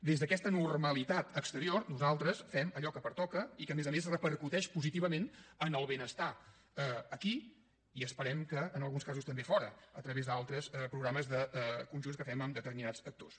des d’aquesta normalitat exterior nosaltres fem allò que pertoca i que a més a més repercuteix positivament en el benestar aquí i esperem que en alguns casos també fora a través d’altres programes conjunts que fem amb determinats actors